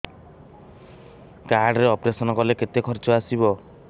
card ରେ operation କଲେ କେତେ ଖର୍ଚ ଆସିବ